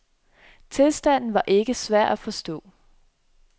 Tilstanden var ikke så svær at forstå.